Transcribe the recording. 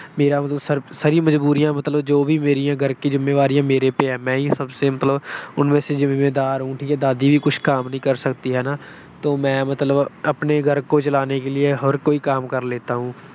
ਮੇਰੀ ਸਾਰੀ ਮਜਬੂਰੀਆਂ ਜੋ ਵੀ ਮੇਰੀਆਂ ਮਤਲਬ ਘਰ ਕੀ ਜੋ ਵੀ ਜਿੰਮੇਵਾਰੀਆਂ ਹੈ, ਮੇਰੇ ਪੇ ਹੈ। ਮੈਂ ਹੀ ਉਨਮੇਂ ਸੇ ਸਭ ਸੇ ਜਿੰਮੇਦਾਰ ਹੂੰ। ਦਾਦੀ ਵੀ ਮਤਲਬ ਕਾਮ ਨਹੀਂ ਕਰ ਸਕਤੀ। ਹਨਾ। ਤੋ ਮੈਂ ਮਤਲਬ ਅਪਨੇ ਘਰ ਕੋ ਚਲਾਨੇ ਕੇ ਲਿਏ ਹਰ ਕੋਈ ਕਾਮ ਕਰ ਲੈਤਾ ਹੂੰ।